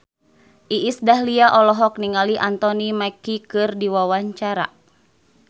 Iis Dahlia olohok ningali Anthony Mackie keur diwawancara